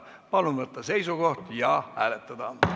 Palun võtta seisukoht ja hääletada!